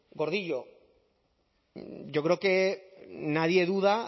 gordillo yo creo que nadie duda